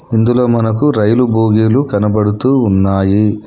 ఇందులో మనకు రైలు బోగీలు కనబడుతూ ఉన్నాయి.